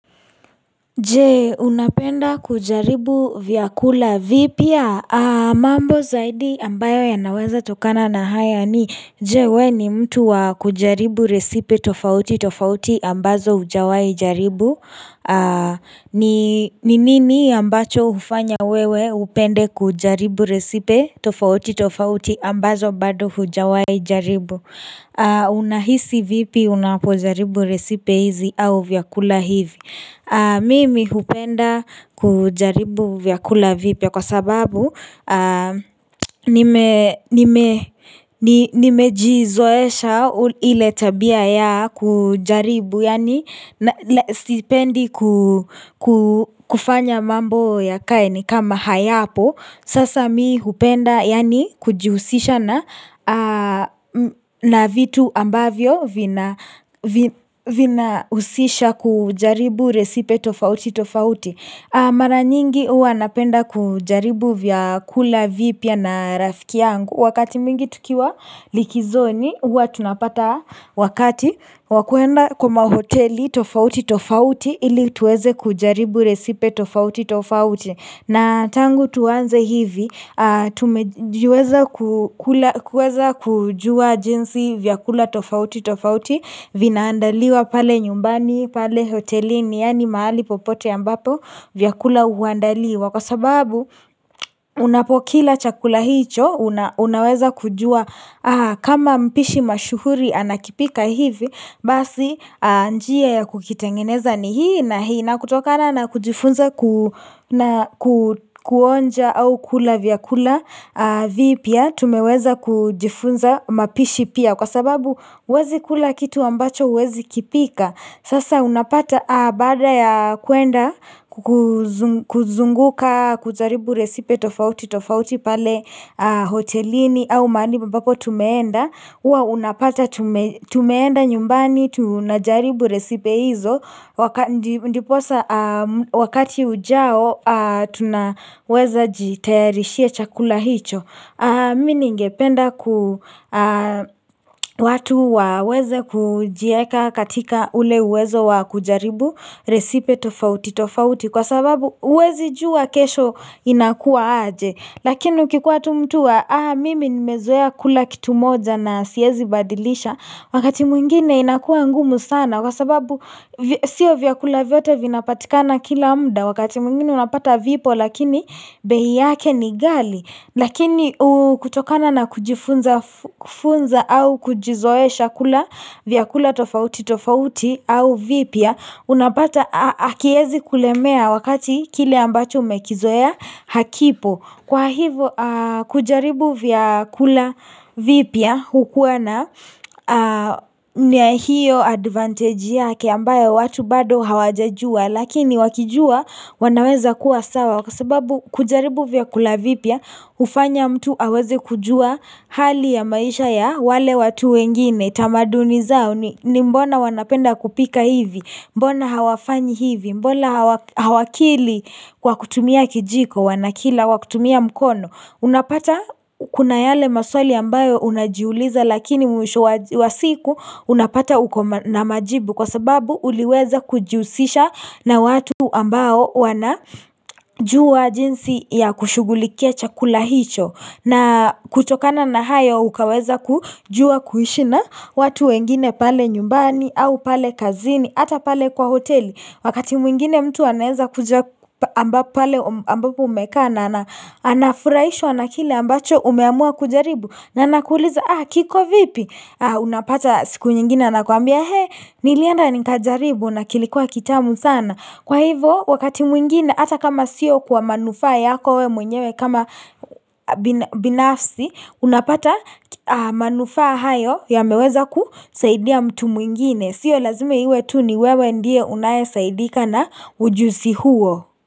Je unapenda kujaribu vyakula vipya mambo zaidi ambayo yanaweza tokana na haya ni Je wewe ni mtu wa kujaribu resipe tofauti tofauti ambazo hujawahi jaribu ni nini ambacho hufanya wewe upende kujaribu resipe tofauti tofauti ambazo bado hujawahi jaribu Unahisi vipi unapojaribu resipe hizi au vyakula hivi Mimi hupenda kujaribu vyakula vipya kwa sababu nimejizoesha ile tabia ya kujaribu Yani sipendi kufanya mambo yakae ni kama hayapo sasa mimi hupenda yaani kujihusisha na vitu ambavyo vinahusisha kujaribu resipe tofauti tofauti Mara nyingi huwa napenda kujaribu vyakula vipya na rafiki yangu Wakati mwingi tukiwa likizoni huwa tunapata wakati wa kwenda kwa mahoteli tofauti tofauti ili tuweze kujaribu resipe tofauti tofauti na tangu tuanze hivi, tumejiweza kuweza kujua jinsi vyakula tofauti tofauti, vinaandaliwa pale nyumbani, pale hotelini, yaani mahali popote ambapo vyakula huandaliwa. Kwa sababu unapokila chakula hicho Unaweza kujua kama mpishi mashuhuri anakipika hivi Basi njia ya kukitengeneza ni hii na hii na kutokana na kujifunza kuonja au kula vyakula vipya tumeweza kujifunza mapishi pia Kwa sababu huwezi kula kitu ambacho huwezi kipika Sasa unapata baada ya kwenda kuzunguka kujaribu resipe tofauti tofauti pale Hotelini au mahali ambapo tumeenda huwa unapata tumeenda nyumbani tunajaribu resipe hizo Ndiposa wakati ujao tunaweza jitayarishia chakula hicho Mimi ningependa watu waweze kujiweka katika ule uwezo wa kujaribu resipe tofauti tofauti Kwa sababu huwezi jua kesho inakuwa aje Lakini ukikuwa tu mtu wa Mimi nimezoea kula kitu moja na siwezi badilisha Wakati mwingine inakua ngumu sana Kwa sababu sio vyakula vyote vinapatikana kila muda Wakati mwingine unapata vipo lakini bei yake ni gali Lakini kutokana na kujifunza au kujizoesha kula vyakula tofauti tofauti au vipya unapata hakiwezi kulemea wakati kile ambacho umekizoea hakipo kwa hivo kujaribu vyakula vipya hukuwa na nia hiyo advantage yake ambayo watu bado hawajajua Lakini wakijua wanaweza kuwa sawa kwa sababu kujaribu vyakula vipya hufanya mtu aweze kujua hali ya maisha ya wale watu wengine tamaduni zao ni mbona wanapenda kupika hivi Mbona hawafanyi hivi Mbona hawakili kwa kutumia kijiko Wanakila kwa kutumia mkono Unapata kuna yale maswali ambayo unajiuliza Lakini mwisho wa siku unapata uko na majibu Kwa sababu uliweza kujihusisha na watu ambao wana jua jinsi ya kushughulikia chakula hicho na kutokana na hayo ukaweza kujua kuishi na watu wengine pale nyumbani au pale kazini hata pale kwa hoteli wakati mwingine mtu anaweza kuja ambapo umekaa na anafurahishwa na kile ambacho umeamua kujaribu na anakuliza kiko vipi unapata siku nyingine anakwambia nilienda nikajaribu na kilikuwa kitamu sana Kwa hivo wakati mwingine hata kama siyo kwa manufa yako wewe mwenyewe kama binafsi unapata manufa hayo yameweza kusaidia mtu mwingine. Sio lazima iwe tu ni wewe ndiye unayesaidika na ujuzi huo.